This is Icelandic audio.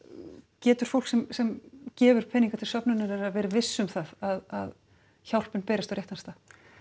getur fólk sem sem gefur peninga til söfnunarinnar verið visst um það að hjálpin berist á réttan stað